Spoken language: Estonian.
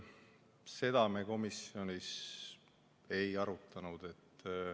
Seda me komisjonis ei arutanud.